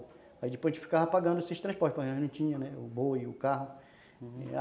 Aí depois a gente ficava pagando esses transportes, porque a gente não tinha o boi, o carro.